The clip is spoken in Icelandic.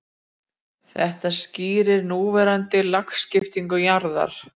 Þetta skýrir núverandi lagskiptingu jarðar.